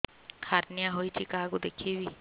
hernia ହୋଇଛି କାହାକୁ ଦେଖେଇବି